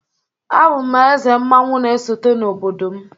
Abụ m eze mmanwu na-esote n'obodo m